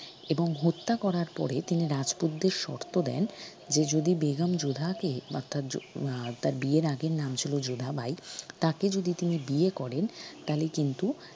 এবং হত্যা করার পরে তিনি রাজপুতদের শর্ত দেন যে যদি বেগম যোধাকে বা তার আহ তার বিয়ের আগে নাম ছিল যোধাবাই তাকে যদি তিনি বিয়ে করেন তালে কিন্তু